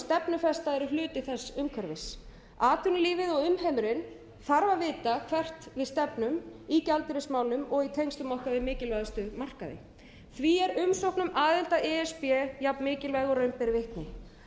þess umhverfis atvinnulífið og umheimurinn þarf að vita hvert við stefnum í gjaldeyrismálum og í tengslum okkar við mikilvægustu markaði því er umsókn um aðild að e s b jafn mikilvæg og raun ber vitni